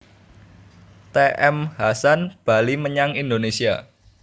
T M Hasan bali menyang Indonésia